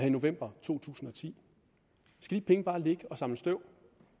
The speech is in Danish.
i november to tusind og ti skal de penge bare ligge og samle støv